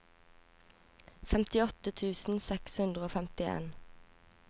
femtiåtte tusen seks hundre og femtien